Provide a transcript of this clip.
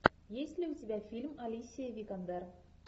есть ли у тебя фильм алисия викандер